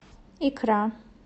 икра